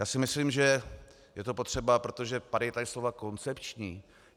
Já si myslím, že je to potřeba, protože padala tady slova koncepční.